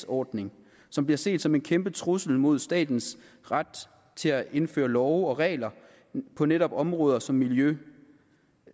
ordning som bliver set som en kæmpe trussel mod statens ret til at indføre love og regler på netop områder som miljø